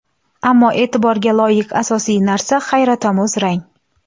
Ammo e’tiborga loyiq asosiy narsa hayratomuz rang!